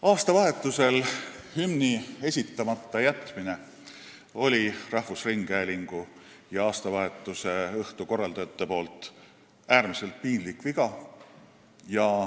Aastavahetusel hümni esitamata jätmine oli rahvusringhäälingu ja aastavahetuse õhtu korraldajate äärmiselt piinlik viga.